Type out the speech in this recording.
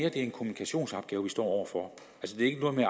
er en kommunikationsopgave vi står over for altså at